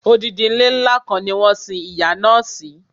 Odidi ilé ńlá kan ni wọ́n sin ìyá náà si